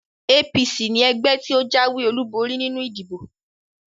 APC ni ẹgbẹ́ tí ó jáwé olúborí nínú ìdìbò